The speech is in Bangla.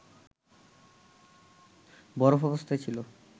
বরফ অবস্থায় ছিল